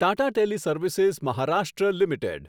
Tata teleservices Maharashtra limited